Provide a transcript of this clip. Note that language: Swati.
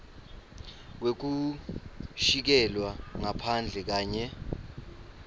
wekukhishelwa ngaphandle kanye